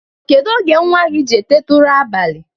Kedụ oge nwa gị ji eteta ụra abalị?